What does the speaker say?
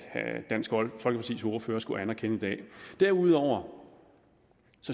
dansk folkepartis ordfører skulle anerkende i dag derudover